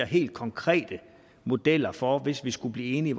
helt konkrete modeller for hvor vi hvis vi skulle blive enige